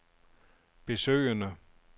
besøgende